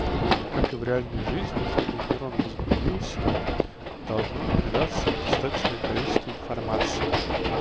как и в реальной жизни чтобы нейрон возбудился должно передастся достаточное количество информации